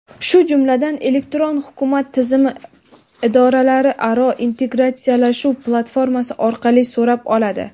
shu jumladan "Elektron hukumat" tizimi idoralararo integratsiyalashuv platformasi orqali so‘rab oladi.